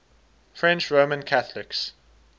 french roman catholics